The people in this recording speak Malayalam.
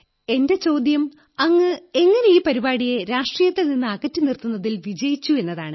എന്റെ ചോദ്യം അങ്ങ് ഈ പരിപാടിയെ എങ്ങനെ രാഷ്ട്രീയത്തിൽ നിന്ന് അകറ്റിനിർത്തുന്നതിൽ വിജയിച്ചു എന്നതാണ്